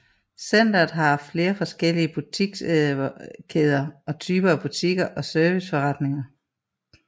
Centret har haft flere forskellige butikskæder og typer af butikker og serviceforretninger